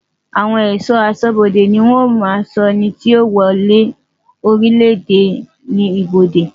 Àwon è̩só̩ asó̩bodè ni ó maa ń so̩ e̩nití yío wo̩ orílèdè ní ibodè.